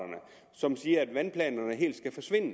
som siger at vandplanerne helt skal forsvinde